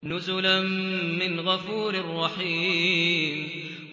نُزُلًا مِّنْ غَفُورٍ رَّحِيمٍ